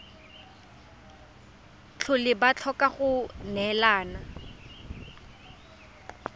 tlhole ba tlhoka go neelana